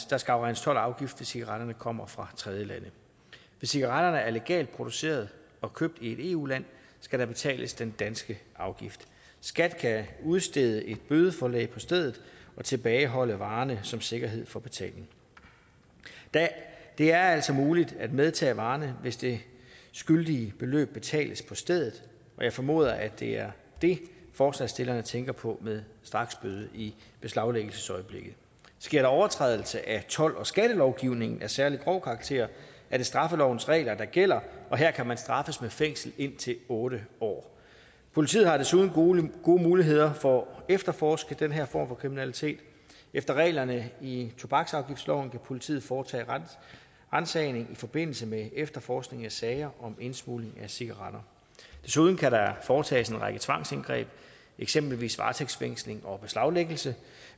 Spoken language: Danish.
der skal afregnes told og afgift hvis cigaretterne kommer fra tredjelande hvis cigaretterne er legalt produceret og købt i et eu land skal der betales den danske afgift skat kan udstede et bødeforelæg på stedet og tilbageholde varerne som sikkerhed for betaling det er altså muligt at medtage varerne hvis det skyldige beløb betales på stedet jeg formoder at det er det forslagsstillerne tænker på med straksbøde i beslaglæggelsesøjeblikket sker der overtrædelse af told og skattelovgivningen af særlig grov karakter er det straffelovens regler der gælder og her kan man straffes med fængsel indtil otte år politiet har desuden gode muligheder for at efterforske den her form for kriminalitet efter reglerne i tobaksafgiftsloven kan politiet foretage ransagning i forbindelse med efterforskning af sager om indsmugling af cigaretter desuden kan der foretages en række tvangsindgreb eksempelvis varetægtsfængsling og beslaglæggelse